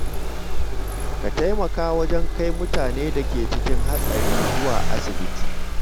Ka taimaka wajen kai mutanen da ke cikin hatsari zuwa asibiti.